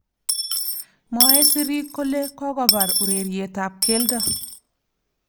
Mwaei sirik kole kokobar urerietab keldo